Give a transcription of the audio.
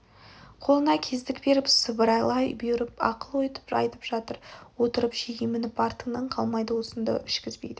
қолына кездік беріп сыбырлай бұйырып ақыл айтып жатыр үйде отырып же емініп артыңнан қалмайды асынды ішкізбейді